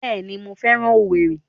Bẹẹni, mo féràn owerri